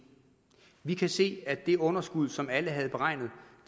vi kan se at det underskud som alle havde beregnet